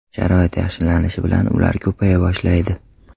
Sharoit yaxshilanishi bilan ular ko‘paya boshlaydi.